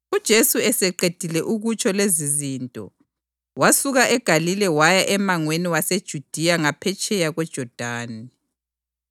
UJesu eseqedile ukutsho lezizinto, wasuka eGalile waya emangweni waseJudiya ngaphetsheya kweJodani.